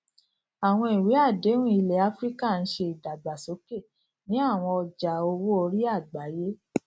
àwọn ìwé àdéhùn ilẹ áfíríkà ń ṣe ìdàgbàsókè ní àwọn ọjà owó orí àgbáyé